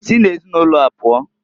Si na ezinụlọa pụọǃ